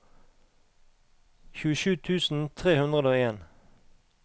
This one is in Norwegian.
tjuesju tusen tre hundre og en